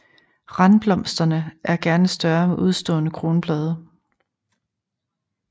Randblomsterne er gerne større med udstående kronblade